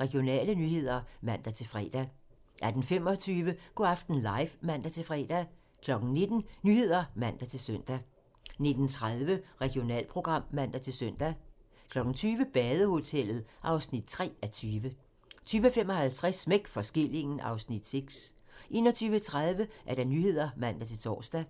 Regionale nyheder (man-fre) 18:25: Go' aften live (man-fre) 19:00: Nyhederne (man-søn) 19:30: Regionalprogram (man-søn) 20:00: Badehotellet (3:20) 20:55: Smæk for skillingen (Afs. 6) 21:30: Nyhederne (man-tor)